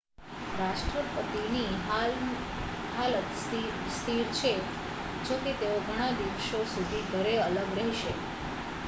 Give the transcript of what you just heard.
રાષ્ટ્રપતિની હાલત સ્થિર છે જોકે તેઓ ઘણા દિવસો સુધી ઘરે અલગ રહેશે